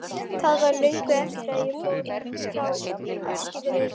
Það var löngu eftir að ég fór frá Eskifirði.